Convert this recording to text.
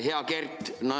Hea Kert!